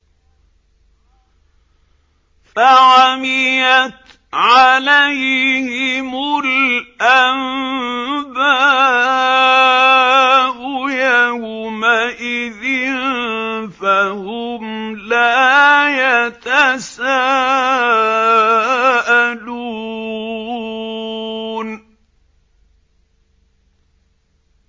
فَعَمِيَتْ عَلَيْهِمُ الْأَنبَاءُ يَوْمَئِذٍ فَهُمْ لَا يَتَسَاءَلُونَ